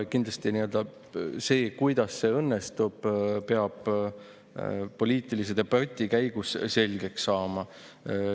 Kindlasti peab see, kuidas see õnnestub, poliitilise debati käigus selgeks saama.